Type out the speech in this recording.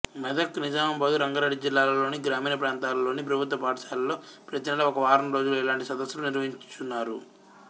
మెదక్ నిజామాబాదు రంగారెడ్డి జిల్లాలలోని గ్రామీణ ప్రాంతాలలోని ప్రభుత్వ పాఠశాలలో ప్రతినెలా ఒక వారంరోజులు ఇలాంటి సదస్సులు నిర్వహించుచున్నారు